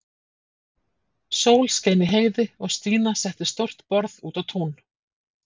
Sól skein í heiði og Stína setti stórt borð út á tún.